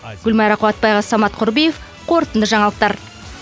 гүлмайра қуатбайқызы самат құрбиев қорытынды жаңалықтар